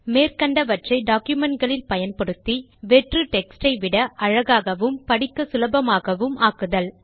மேற்கண்டவற்றை document களில் பயன்படுத்தி வெற்று டெக்ஸ்ட் ஐ விட அழகாகவும் படிக்க சுலபமாகவும் ஆக்குதல்